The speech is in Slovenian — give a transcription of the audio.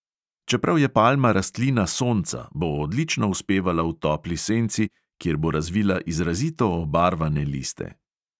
Čeprav je palma rastlina sonca, bo odlično uspevala v topli senci, kjer bo razvila izrazito obarvane liste.